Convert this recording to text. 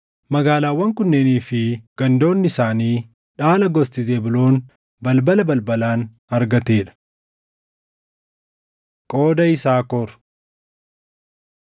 Magaalaawwan kunneenii fi gandoonni isaanii dhaala gosti Zebuuloon balbala balbalaan argatee dha. Qooda Yisaakor